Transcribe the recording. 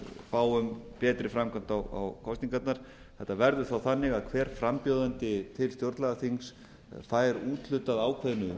fáum betri framkvæmd á kosningarnar þetta verður þá þannig að hver frambjóðandi til stjórnlagaþings fær úthlutað ákveðnu